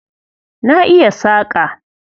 Na iya saƙa.